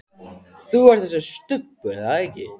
Þú ert þessi Stubbur, er það ekki?